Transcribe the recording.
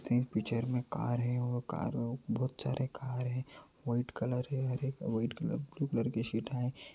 Picture में car है और कार में बोहोत सारी कार हैं व्हाइट कलर है हरे-व्हाइट कलर ब्लू कलर के शैड हैं।